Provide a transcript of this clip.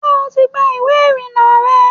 ṣé o ti gba ìwé ìrìnnà rẹ?